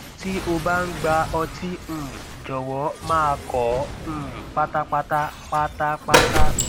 tí ó bá ń gbà ọtí um jọwọ máa kọ ọ um pátápátá pátápátá